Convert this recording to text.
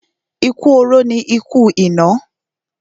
Ikú oró ni ikú ìná.